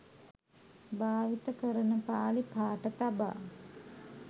භාවිත කරන පාලි පාඨ තබා